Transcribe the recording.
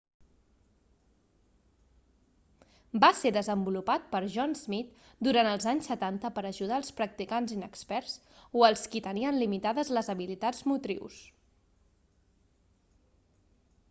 va ser desenvolupat per john smith durant els anys setanta per ajudar els practicants inexperts o els qui tenien limitades les habilitats motrius